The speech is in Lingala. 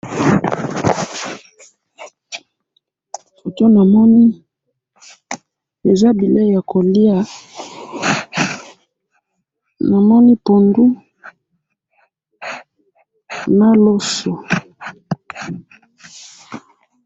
Foto namoni, eza bileyi yakoliya, namoni pondu na loso.